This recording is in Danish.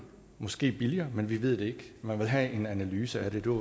måske billigere men vi ved det ikke man vil have en analyse af det det var